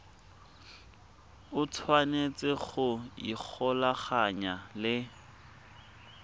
o tshwanetse go ikgolaganya le